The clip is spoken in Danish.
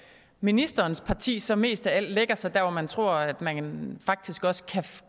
ministerens parti så mest af alt lægger sig der hvor man tror at man faktisk også kan